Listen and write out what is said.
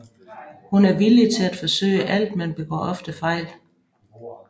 Hun er villig til at forsøge alt men begår ofte fejl